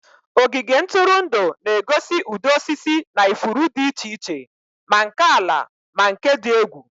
Ogige ntụrụndụ na-egosi ụdị osisi na ifuru dị iche iche, ma nke ala ma nke dị egwu.